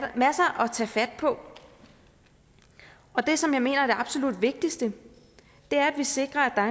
tage fat på og det som jeg mener er det absolut vigtigste er at vi sikrer